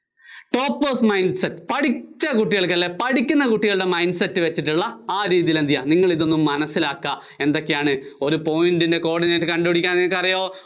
toppers mind set. പഠിച്ച കുട്ടികള്‍ക്കല്ലേ പഠിക്കുന്ന കുട്ടികള്‍ക്കുള്ള Mind set വച്ചിട്ടുള്ള ആ രീതിയില്‍ എന്ത് ചെയ്യാ, നിങ്ങള്‍ ഇതൊന്ന് മനസ്സിലാക്കാ, ഏതൊക്കെയാണ് ഒരു point ന്‍റെ coordinate കണ്ടുപിടിക്കാനായിട്ടറിയോ